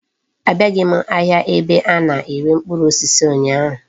Abiaghi m ahịa ebe a na-ere mkpụrụ osisi ụnyaahụ.